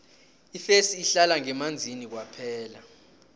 ifesi ihlala ngemanzini kwaphela